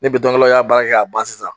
Ni y'a baara kɛ ka ban sisan